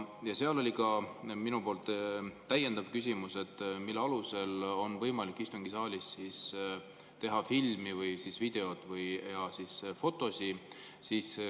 Ja oli ka minu täiendav küsimus, mille alusel on võimalik istungisaalis teha filmi või videot või fotosid.